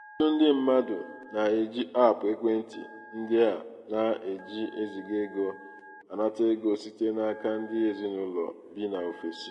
ọtụtụ ndị mmadụ na-eji aapụ ekwentị ndị a na-eji eziga ego anata ego site n'aka ndị ezinaụlọ bi n'ofesi.